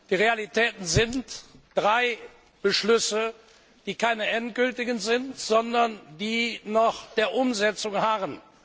Die Realitäten sind drei Beschlüsse, die keine endgültigen Beschlüsse sind, sondern die noch der Umsetzung harren.